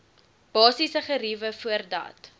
basiese geriewe voordat